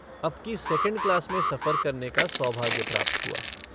अब की second class में सफ़र करने का सौभाग्य प्राप्त हुआ।